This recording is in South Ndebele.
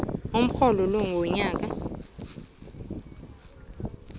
umrholo wonyaka n